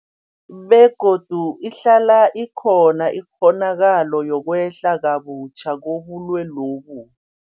Begodu ihlala ikhona ikghonakalo yokwehla kabutjha kobulwelobu.